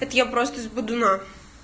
это я просто с бодуна